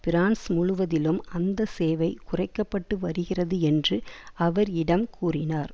France முழுவதிலும் அந்த சேவை குறைக்க பட்டு வருகிறது என்று அவர் யிடம் கூறினார்